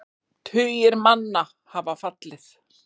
Tugir manna hafa fallið.